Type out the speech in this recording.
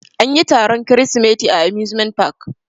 Anyi taron kirisimeti a amusement park.